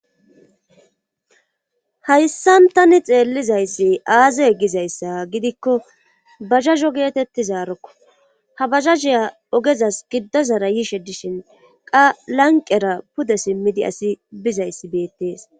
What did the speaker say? hayssan tani xeellizayssi aze gizayssa gidikko bazhazho geetettizaarokko. ha bazhazhiya ogezas giddozara yiishe dishin qa lanqera pude simmidi asi bizayssi beettees.